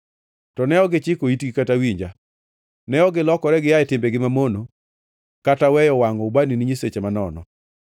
To ne ok gichiko itgi kata winja; ne ok gilokore gia e timbegi mamono kata weyo wangʼo ubani ne nyiseche manono.